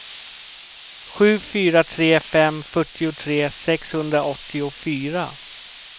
sju fyra tre fem fyrtiotre sexhundraåttiofyra